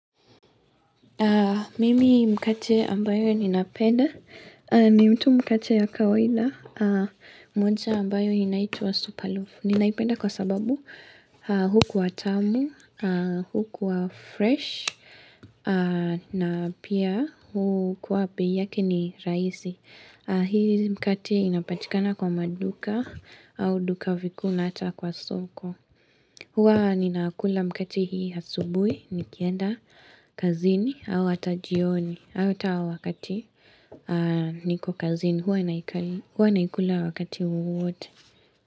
Mimi mkate ambayo ya ninaipenda ni mtu mkate ya kawenda mmoja ambayo inaituwa' Superloaf'. Ninaipenda kwa sababu hukuwa tamu, hukuwa fresh, na pia hukuwa bei yake ni raisi. Hii mkate inapatikana kwa maduka au duka vikuu hata kwa soko. Huwa ninakula mkate hii asubuhi, nikienda kazini, au hata jioni, au wakati niko kazini. Huwa naikula wakati uwote.